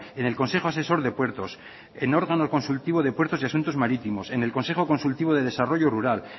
en el consejo asesor de puertos en órgano consultivo de puertos y asuntos marítimos en el consejo consultivo de desarrollo rural